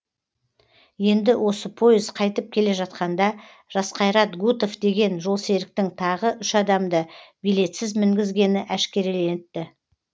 енді осы пойыз қайтып келе жатқанда жасқайрат гутов деген жолсеріктің тағы үш адамды билетсіз мінгізгені әшкереленіпті